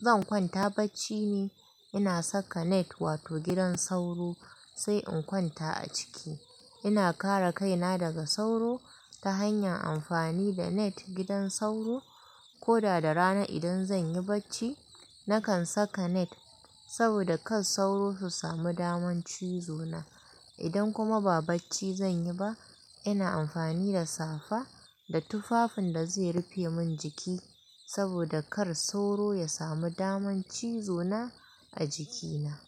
zan kwanta bacci ne, ina saka net wato gidan sauro sai in kwanta a ciki. Ina kare kaina daga sauro ta hanyar amfani da net gidan sauro. Ko da da rana idan zan yi bacci, nakan saka net saboda kar sauro su sami damar cizo na. Idan kuma ba bacci zan yi ba, ina amfani da safa da tufafin da zai rufe min jiki saboda kar sauro ya sami damar cizo na a jikina.